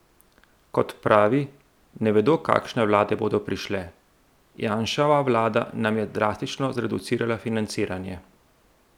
Kot pravi, ne vedo, kakšne vlade bodo prišle: "Janševa vlada nam je drastično zreducirala financiranje.